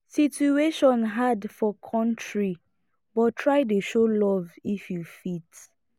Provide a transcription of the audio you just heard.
situation hard for kontry but try dey show luv if yu fit